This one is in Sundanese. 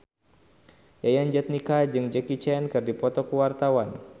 Yayan Jatnika jeung Jackie Chan keur dipoto ku wartawan